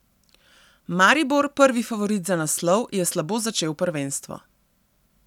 Maribor, prvi favorit za naslov, je slabo začel prvenstvo.